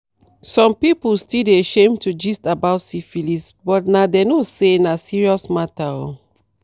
some people still dey shame to gist about syphilis but na they no say na serious matter oo